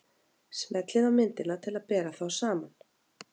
Smellið á myndina til að bera þá saman.